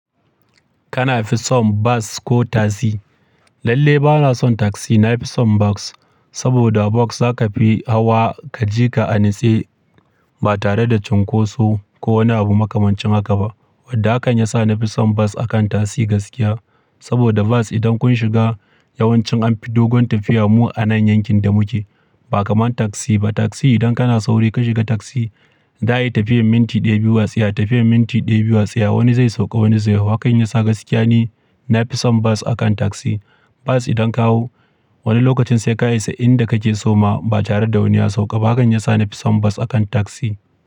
Kana fi son bas ko tasi? Lalle bana son tagsi, na fi son bas. Saboda bas za ka fi hawa ka je ka anitse ba tare da cunkoso ko wani abu makamancin haka ba. Wadda hakan ya sa na fi son bas akan tagsi gaskiya. Saboda bas idan kun shiga yawancin an fi dogon tafiya mu a nan yankin da muke. Ba kamar taksi ba. Tagsi idan kana sauri ka shiga tagsi, za a yi tafiyar minti ɗaya, biyu wasiya, tafiyar minti ɗaya, biyu wasiya wani zai sauka wani zai hau. Hakan ya sa gaskiya ne na fi son bas akan tagsi. Bas idan ka hau wani lokacin sai ka isa inda kake so ma ba tare da wani ya sauka ba. Hakan ya sa na fi son bas akan tagsi.